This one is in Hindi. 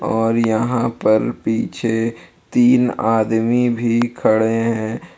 और यहां पर पीछे तीन आदमी भी खड़े हैं।